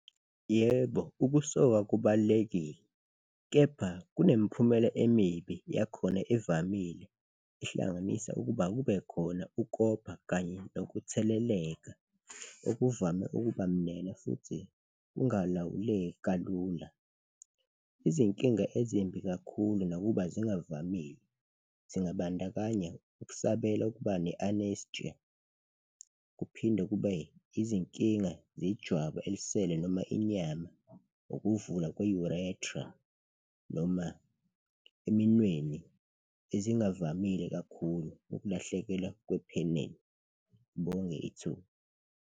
Yebo, ukusoka kubalulekile kepha kunemiphumela emibi yakhona evamile, ihlanganisa ukuba kubekhona ukopha kanye nokutheleleka okuvame ukuba mnene futhi kungalawuleki kalula. Izinkinga ezimbi kakhulu nakuba zingavamile, zingabandakanya ukusabela ukuba ne-anestia kuphinde kube izinkinga zejwabu elisele noma inyama, ukuvula kwe-urethra noma eminweni, ezingavamile kakhulu, ukulahlekelwa kwephenel. Ngibonge ithuba.